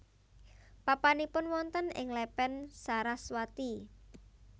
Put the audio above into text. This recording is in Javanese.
Papanipun wonten ing Lepen Saraswati